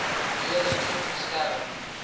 redelik goed beskerm